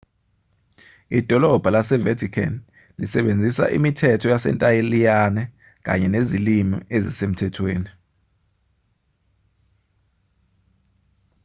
idolabha lase-vatican lisebenzisa imithetho yasentaliyane kanye nezilimi ezisemthethweni